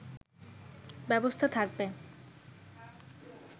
ব্যবস্থা থাকবে